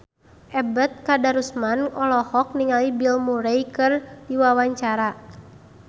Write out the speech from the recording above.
Ebet Kadarusman olohok ningali Bill Murray keur diwawancara